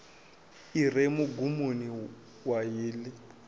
i re mugumoni wa heḽi